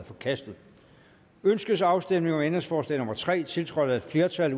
forkastet ønskes afstemning om ændringsforslag nummer tre tiltrådt af et flertal